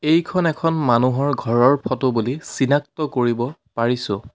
এইখন এখন মানুহৰ ঘৰৰ ফটো বুলি চিনাক্ত কৰিব পাইছোঁ।